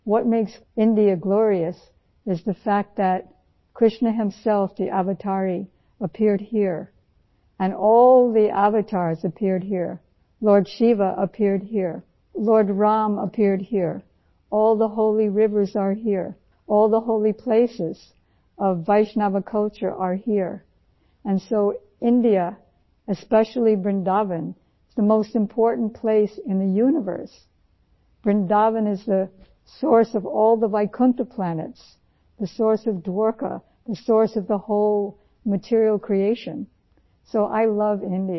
What makes India glorious is the fact that Krishna himself the avatari appeared here and all the avatars appeared here, Lord Shiva appeared here, Lord Ram appeared here, all the holy rivers are here, all the holy places of Vaishnav culture are here and so India especially Vrindavan is the most important place in the universe, Vrindavan is the source of all the Vaikunth planets, the source of Dwarika, the source of the whole material creation, so I love India